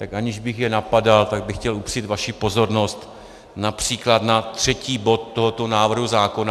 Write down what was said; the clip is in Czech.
Tak aniž bych je napadal, tak bych chtěl upřít vaši pozornost například na třetí bod tohoto návrhu zákona.